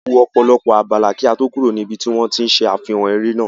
A wọ ọ̀pọ̀lọpọ̀ abala kí á to kúrò ní ibi tí wón ti ń ṣe àfihàn eré náà.